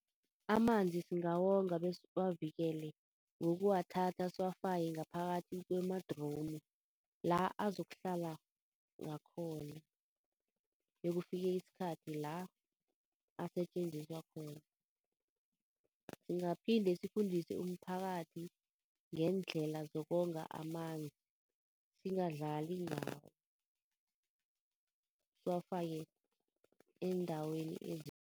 Amanzi singawonga besiwavikele ngokuwathatha siwafake ngaphakathi kwemadromu, la azokuhla ngakhona bekufike isikhathi la asetjenziswa khona. Singaphinde sifundise umphakathi ngeendlela zokonga amanzi, singadlali ngawo, siwafake eendaweni